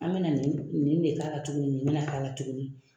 An bɛna nin de k'a la tuguni nin bɛna k'a la tuguni